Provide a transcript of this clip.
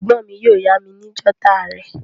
Ègbón mi yio yá mi ni jotter rè